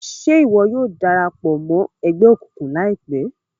Ṣe iwọ yóò darapọ̀ mọ ẹgbẹ òkùnkùn laipẹ?